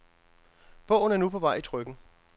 Bogen er nu på vej i trykken.